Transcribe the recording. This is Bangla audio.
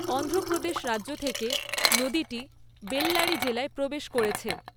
অন্ধ্রপ্রদেশ রাজ্য থেকে নদীটি বেল্লারি জেলায় প্রবেশ করেছে।